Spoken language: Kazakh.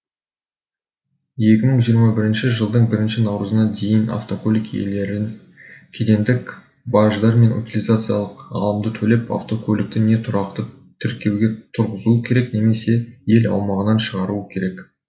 екі мың жиырма бірінші жылдың бірінші наурызына дейін автокөлік иелері кедендік баждар мен утилизациялық алымды төлеп автокөлікті не тұрақты тіркеуге тұрғызуы керек немесе ел аумағынан шығаруы керек